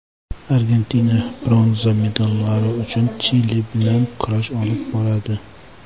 Argentina bronza medallari uchun Chili bilan kurash olib boradi.